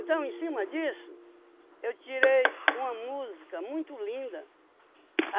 em cima disso, eu tirei uma música muito linda.